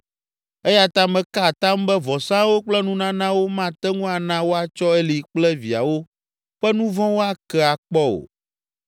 Eya ta meka atam be vɔsawo kple nunanawo mate ŋu ana woatsɔ Eli kple viawo ƒe nu vɔ̃wo ake akpɔ o.”